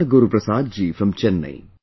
Guruprasad ji from Chennai